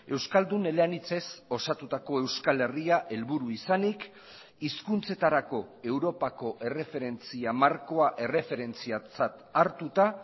euskaldun eleanitzez osatutako euskal herria helburu izanik hizkuntzetarako europako erreferentzia markoa erreferentziatzat hartuta